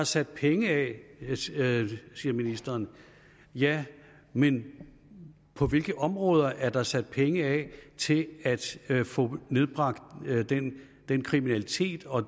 sat penge af siger ministeren ja men på hvilke områder er der sat penge af til at få nedbragt den den kriminalitet og